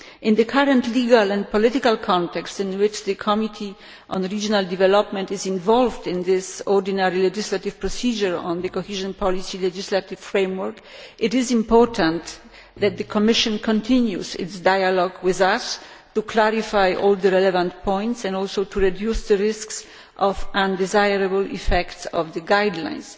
In the current legal and political context in which the Committee on Regional Development is involved in this ordinary legislative procedure on the Cohesion Policy legislative framework, it is important that the Commission continues its dialogue with us in order to clarify all the relevant points and also to reduce the risk of undesirable effects of the guidelines.